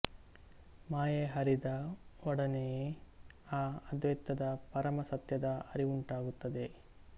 ಮಾಯೆ ಹರಿದ ಒಡನೆಯೇ ಈ ಅದ್ವೈತದ ಪರಮ ಸತ್ಯದ ಅರಿವುಂಟಾಗುತ್ತದೆ